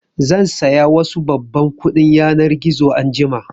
Zan saya wasu babban kuɗin yanar gizo anjima